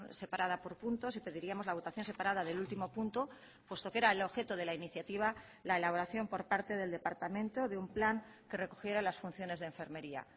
separada por puntos y pediríamos la votación separada del último punto puesto que era el objeto de la iniciativa la elaboración por parte del departamento de un plan que recogiera las funciones de enfermería